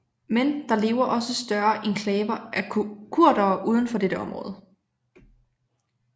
Men der lever også større enklaver af kurdere uden for dette område